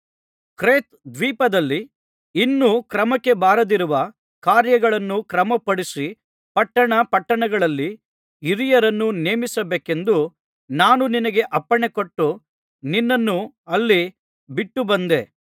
Crete ದ್ವೀಪದಲ್ಲಿ ಇನ್ನೂ ಕ್ರಮಕ್ಕೆ ಬಾರದಿರುವ ಕಾರ್ಯಗಳನ್ನು ಕ್ರಮಪಡಿಸಿ ಪಟ್ಟಣ ಪಟ್ಟಣಗಳಲ್ಲಿ ಹಿರಿಯರನ್ನು ನೇಮಿಸಬೇಕೆಂದು ನಾನು ನಿನಗೆ ಅಪ್ಪಣೆಕೊಟ್ಟು ನಿನ್ನನ್ನು ಅಲ್ಲಿ ಬಿಟ್ಟು ಬಂದೆ